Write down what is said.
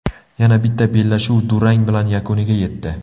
Yana bitta bellashuv durang bilan yakuniga yetdi.